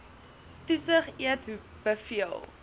toesig eet beveel